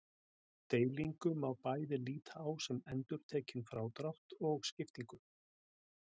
Deilingu má bæði líta á sem endurtekinn frádrátt og skiptingu.